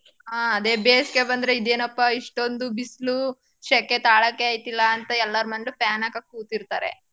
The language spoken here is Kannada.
ಹಾ ಅದೆ ಬೇಸ್ಗೆ ಬಂದ್ರೆ ಇದೇನಪ್ಪ ಇಷ್ಟೋಂದು ಬಿಸ್ಲೂ ಶೆಕೆ ತಾಳಕೆ ಆಯ್ತಿಲ್ಲ ಅಂತ ಎಲ್ಲಾರ್ ಮನ್ಲೂ fan ಹಾಕ ಕೂತಿರ್ತಾರೆ.